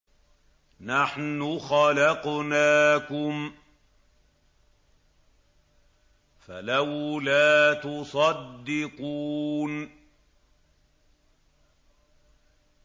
نَحْنُ خَلَقْنَاكُمْ فَلَوْلَا تُصَدِّقُونَ